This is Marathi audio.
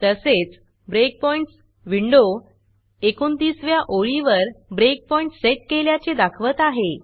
तसेच ब्रेकपॉइंट्स विंडो 29 व्या ओळीवर ब्रेकपॉईंट सेट केल्याचे दाखवत आहे